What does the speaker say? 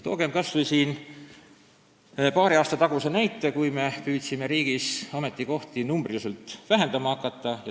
Toogem siin kas või paari aasta taguse näite, kui riigis püüti ametikohti numbrilises mõttes vähendada.